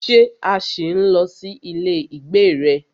Ṣé a ṣì ń lọ sí ilé ìgbé rẹ?